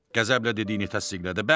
Qəzəblə dediyini təsdiqlədi.